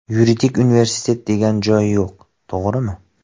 Yuridik universitet degan joyi yo‘q, to‘g‘rimi?